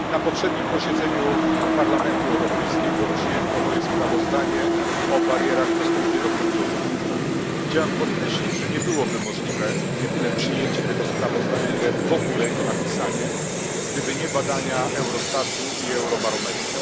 Panie Przewodniczący! Na poprzednim posiedzeniu Parlamentu Europejskiego przyjęto moje sprawozdanie o barierach w dostępie do kultury. Chciałem podkreślić, że nie byłoby możliwe nie tyle przyjęcie tego sprawozdania, ile w ogóle jego napisanie, gdyby nie badania Eurostatu i Eurobarometru.